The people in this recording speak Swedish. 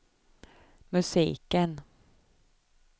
musiken